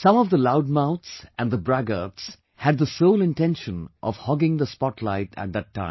Some of the loudmouths and the braggarts had the sole intention of hogging the spotlight at that time